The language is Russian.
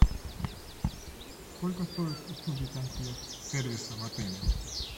сколько стоят услуги консьерж сервиса в отеле